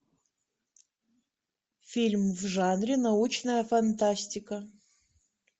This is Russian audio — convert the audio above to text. фильм в жанре научная фантастика